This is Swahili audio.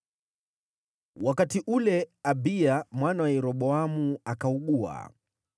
Wakati ule Abiya mwana wa Yeroboamu akaugua,